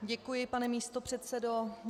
Děkuji, pane místopředsedo.